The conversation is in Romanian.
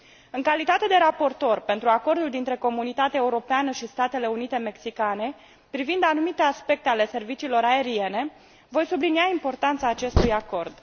În calitate de raportor pentru Acordul dintre Comunitatea Europeană și Statele Unite Mexicane privind anumite aspecte ale serviciilor aeriene, voi sublinia importanța acestui acord.